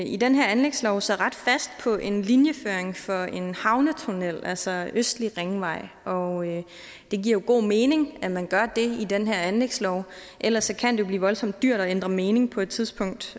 i den her anlægslov lægger sig ret fast på en linjeføring for en havnetunnel altså østlig ringvej og det giver jo god mening at man gør det i den her anlægslov ellers kan det blive voldsomt dyrt at ændre mening på et tidspunkt